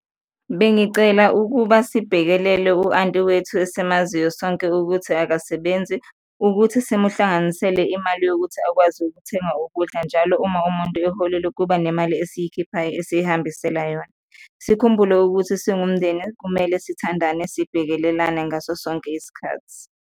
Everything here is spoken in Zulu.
Bengicela ukuba sibhekelele u-anti wethu esimaziyo sonke ukuthi akasebenzi, ukuthi simuhlanganisele imali yokuthi akwazi ukuthenga ukudla, njalo uma umuntu eholile kuba nemali esiyikhiphayo esiyihambisela yona. Sikhumbule ukuthi singumndeni kumele sithandane, sibhekelelane ngaso sonke isikhathi.